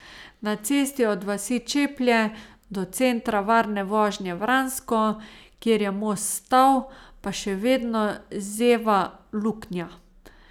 Na cesti od vasi Čeplje do Centra varne vožnje Vransko, kjer je most stal, pa še vedno zeva luknja.